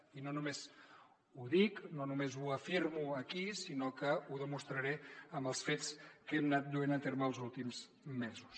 i no només ho dic no només ho afirmo aquí sinó que ho demostraré amb els fets que hem anat duent a terme els últims mesos